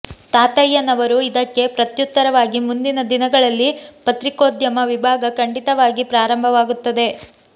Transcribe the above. ತಾತಯ್ಯ ನವರು ಇದಕ್ಕೆ ಪ್ರತ್ಯುತ್ತರವಾಗಿ ಮುಂದಿನ ದಿನಗಳಲ್ಲಿ ಪತ್ರಿಕೋದ್ಯಮ ವಿಭಾಗ ಖಂಡಿತ ವಾಗಿ ಪ್ರಾರಂಭವಾಗುತ್ತದೆ